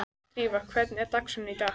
Drífa, hvernig er dagskráin í dag?